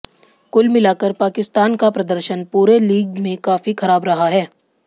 कुल मिलाकर पाकिस्तान का प्रदर्शन पूरे लीग में काफी खराब रहा है